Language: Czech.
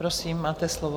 Prosím, máte slovo.